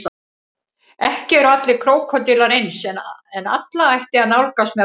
Ekki eru allir krókódílar eins en alla ætti að nálgast með varúð.